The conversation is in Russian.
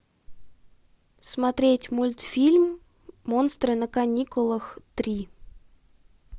смотреть мультфильм монстры на каникулах три